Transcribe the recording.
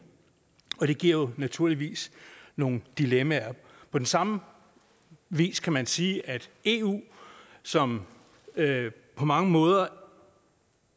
og det giver naturligvis nogle dilemmaer på den samme vis kan man sige at eu som på mange måder